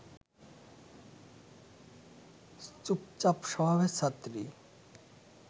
চুপচাপ স্বভাবের ছাত্রী